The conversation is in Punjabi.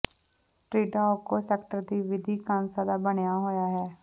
ਟ੍ਰਿਡਾਓਕੋ ਸੈਕਟਰ ਦੀ ਵਿਧੀ ਕਾਂਸੇ ਦਾ ਬਣਿਆ ਹੋਇਆ ਹੈ